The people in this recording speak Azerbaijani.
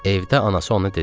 Evdə anası ona dedi.